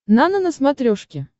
нано на смотрешке